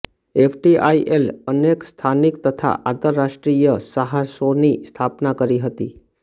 એફટીઆઇએલે અનેક સ્થાનિક તથા આંતરરાષ્ટ્રીય સાહસોની સ્થાપના કરી હતી